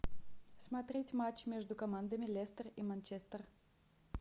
смотреть матч между командами лестер и манчестер